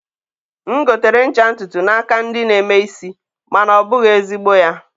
m gotere ncha ntụtụ n'aka ndị na-eme isi, ma na ọ bụghị ezigbo ya.